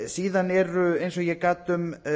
síðan eru eins og ég gat um